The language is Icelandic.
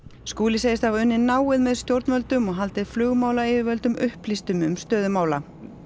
Skúli segist hafa unnið náið með stjórnvöldum og haldið flugmálayfirvöldum upplýstum um stöðu mála